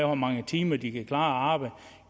hvor mange timer de kan klare